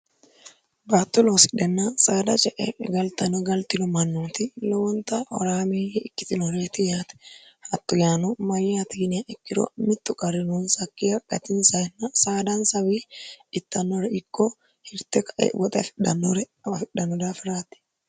battu loosihenn saada c e galtano galtino mannooti lowonta horaamiyyi ikkitinoreti yaate hattu yaano mayyatiiniya ikkiro mittu qarinoo sakkiya qatinsayinna saadaansawi ittannore ikko hirte kae woxe afidhannore fidhanno daafiraati